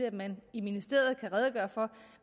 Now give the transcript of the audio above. at man i ministeriet kan redegøre for